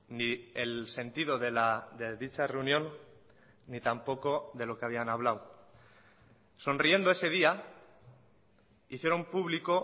ni el sentido de dicha reunión ni tampoco de lo que habían hablado sonriendo ese día hicieron público